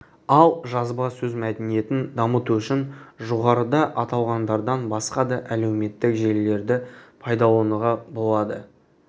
ал жазба сөз мәдениетін дамыту үшін жоғарыда аталғандардан басқа да әлеуметтік желілерді пайдалануға болады